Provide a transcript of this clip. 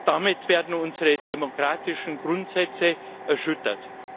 Damit werden unsere demokratischen Grundsätze erschüttert.